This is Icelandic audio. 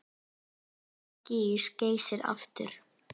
Hvenær gýs Geysir aftur?